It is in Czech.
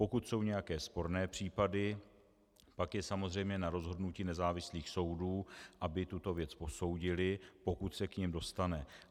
Pokud jsou nějaké sporné případy, pak je samozřejmě na rozhodnutí nezávislých soudů, aby tuto věc posoudily, pokud se k nim dostane.